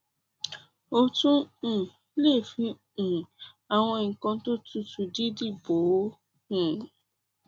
o tún um lè fi um àwọn nǹkan tó tutù dídì bò ó um